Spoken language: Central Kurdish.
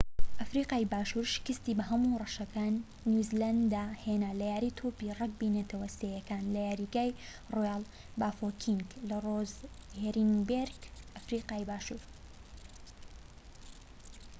ئەفریقای باشور شکستی بە هەموو ڕەشەکان نیو زیلاند هێنا لە یاری تۆپی رەگبی نەتەوە سێیەکان لە یاریگای ڕۆیاڵ بافۆکینگ لە ڕۆزێنبێرگ، ئەفریقای باشور